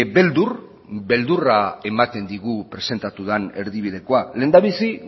beldur beldurra ematen digu presentatu den erdibidekoa lehendabizi